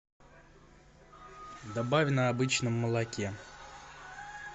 добавь на обычном молоке